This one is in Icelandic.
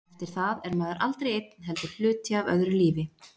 Eftir það er maður aldrei einn heldur hluti af öðru lífi.